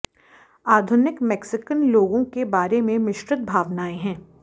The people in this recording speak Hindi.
आधुनिक मेक्सिकन लोगों के बारे में मिश्रित भावनाएं हैं